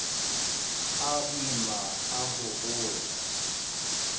a boima a ho hola